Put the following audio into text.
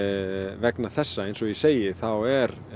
vegna þessa eins og ég segi þá er